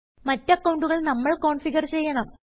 മറ്റ് അക്കൌണ്ടുകൾ നമ്മൾ തന്നെ കോൻഫിഗർ ചെയ്യണം